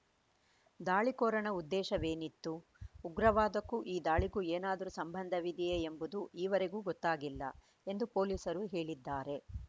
ದಾಳಿಕೋರನ ಉದ್ದೇಶವೇನಿತ್ತು ಉಗ್ರವಾದಕಕ್ಕೂ ಈ ದಾಳಿಗೂ ಏನಾದರೂ ಸಂಬಂಧವಿದೆಯೇ ಎಂಬುದೂ ಈವರೆಗೆ ಗೊತ್ತಾಗಿಲ್ಲ ಎಂದು ಪೊಲೀಸರು ಹೇಳಿದ್ದಾರೆ